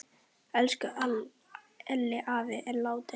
Elsku Elli afi er látin.